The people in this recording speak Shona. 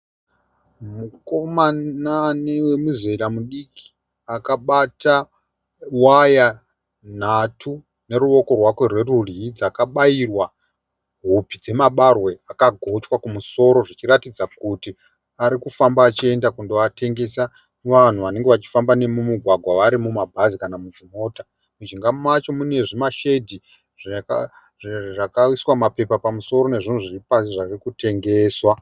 Mukoma ane muzera mudiki. Akabata waya nhatu neruoko rwake rwerudyi dzakabayirwa hupi dzemabarwe akagochwa kumusoro zvichiratidza kuti ari kufamba achienda kundoatengesa muvanhu vanenge vari mumugwagwa vari mumabhazi kana muchimota. Mijinga macho mine zvimashedhi zvakaiswa mapepa pamusoro nezvinhu zviri pasi zvave kutengeswa.